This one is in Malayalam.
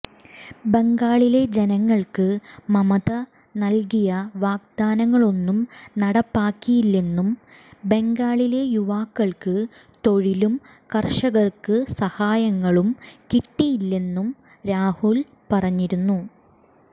ബംഗാളിലെ ജനങ്ങൾക്ക് മമത നൽകിയ വാഗ്ദാനങ്ങളൊന്നും നടപ്പാക്കിയില്ലെന്നും ബംഗാളിലെ യുവാക്കൾക്ക് തൊഴിലും കർഷകർക്ക് സഹായങ്ങളും കിട്ടിയില്ലെന്നും രാഹുൽ പറഞ്ഞിരുന്നു